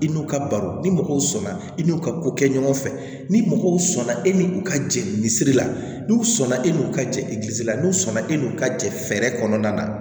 I n'u ka baro ni mɔgɔw sɔnna i n'u ka ko kɛ ɲɔgɔn fɛ ni mɔgɔw sɔnna e ni u ka jelisiri la n'u sɔnna e n'u ka jeligisira n'u sɔnna e n'u ka jɛ fɛɛrɛ kɔnɔna na